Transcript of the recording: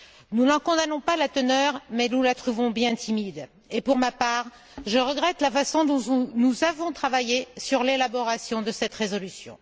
Nous n'en condamnons pas la teneur mais nous la trouvons bien timide. Et, pour ma part, je regrette la façon dont nous avons travaillé sur l'élaboration de cette résolution.